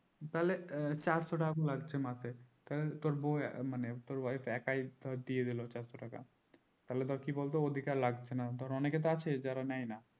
তাহলে চারশো টাকা করে লাগছে মাসে তাহলে তোর বৌ মানে তোর wife একায় ধর দিয়ে দিলো চারশো টাকা তাহলে ধর কি বলতো ওদের কে আর লাগছে না ধর অনেকে তো আছে যারা নেই না